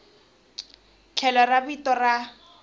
tlhelo ra vito ra n